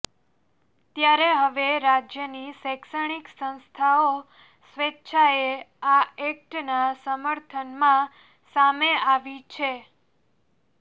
ત્યારે હવે રાજ્યની શૈક્ષણિક સંસ્થાઓ સ્વેચ્છાએ આ એક્ટના સમર્થનમાં સામે આવી છે